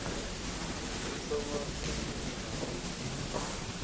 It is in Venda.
u thoma zwikimu na u